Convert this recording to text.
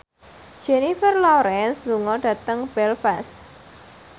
Jennifer Lawrence lunga dhateng Belfast